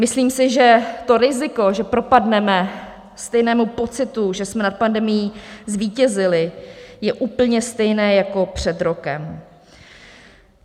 Myslím si, že to riziko, že propadneme stejnému pocitu, že jsme nad pandemií zvítězili, je úplně stejné jako před rokem.